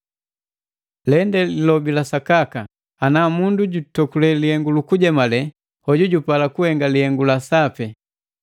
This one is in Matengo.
Lende lilobi la sakaka, ngati mundu najutokule lihengu lukunzemale hoju jupalika kuhenga lihengu la sapi.